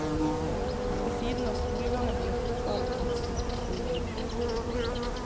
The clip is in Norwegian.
Ved siden av skolegangen ble fotballen hans viktigste gjøremål.